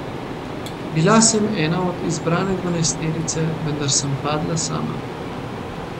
Bila sem ena od izbrane dvanajsterice, vendar sem padla sama.